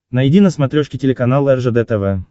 найди на смотрешке телеканал ржд тв